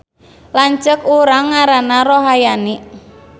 Lanceuk urang ngaranna Rohayani